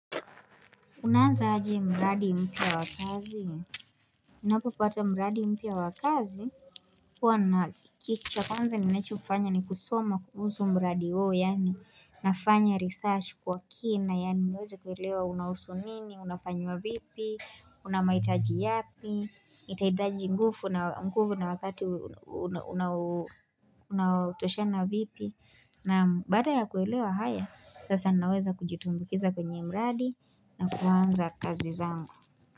Unaanza aje mradi mpya wakazi? Unapopata mradi mpya wa kazi? Huwa na kitu cha konza nincho ufanya ni kusoma kuhusu mradi huwo, yani nafanya research kwa kina, yani niweze kuwelewa unahusu nini, unafanywa vipi, unamaitaji yapi, itaitaji nguvu na wakati unautoshana vipi, na baada ya kuelewa haya, sasa naweza kujitumbukiza kwenye mradi, na kuanza kazi zangu.